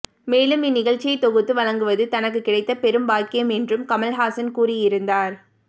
மேலும் இந்நிகழ்ச்சியை தொகுத்து வழங்குவது தனக்கு கிடைத்த பெரும் பாக்கியம் என்றும் கமல்ஹாசன் கூறியிருந்தார்